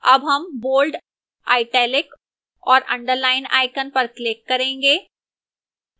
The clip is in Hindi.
अब हम bold italic और underline icons पर click करेंगे